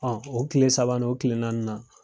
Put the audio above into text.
Ɔn o kile saba n'o kelen naani na